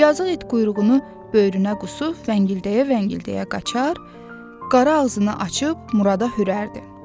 Yazıq it quyruğunu böyrünə qısıb, vıngıldaya-vıngıldaya qaçar, qara ağzını açıb Murada hürərdi.